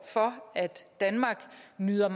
ned ad